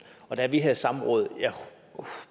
og da vi havde samråd og jeg